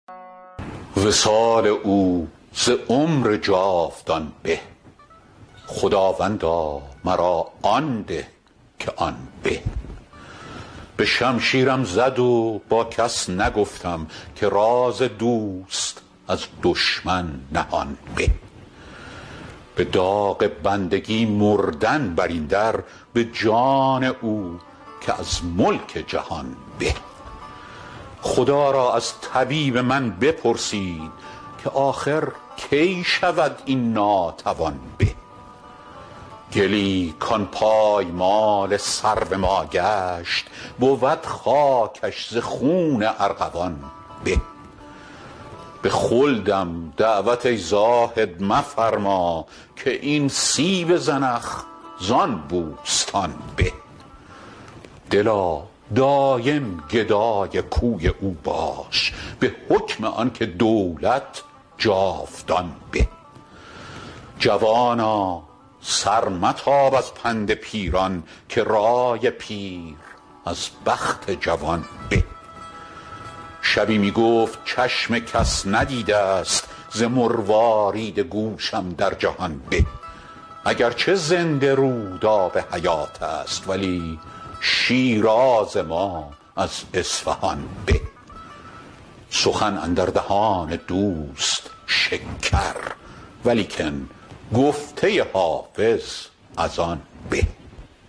وصال او ز عمر جاودان به خداوندا مرا آن ده که آن به به شمشیرم زد و با کس نگفتم که راز دوست از دشمن نهان به به داغ بندگی مردن بر این در به جان او که از ملک جهان به خدا را از طبیب من بپرسید که آخر کی شود این ناتوان به گلی کان پایمال سرو ما گشت بود خاکش ز خون ارغوان به به خلدم دعوت ای زاهد مفرما که این سیب زنخ زان بوستان به دلا دایم گدای کوی او باش به حکم آن که دولت جاودان به جوانا سر متاب از پند پیران که رای پیر از بخت جوان به شبی می گفت چشم کس ندیده ست ز مروارید گوشم در جهان به اگر چه زنده رود آب حیات است ولی شیراز ما از اصفهان به سخن اندر دهان دوست شکر ولیکن گفته حافظ از آن به